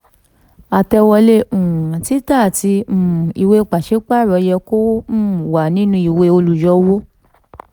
àtẹ̀wọlé um títà àti um ìwée pàṣípààrọ̀ yẹ kó um wà nínú ìwé olùyọwó